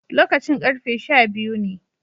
Lokacin karfe sha biyu ne